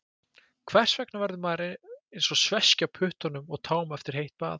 Hvers vegna verður maður eins og sveskja á puttum og tám eftir heitt bað?